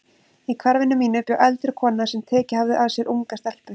Í hverfinu mínu bjó eldri kona sem tekið hafði að sér unga stelpu.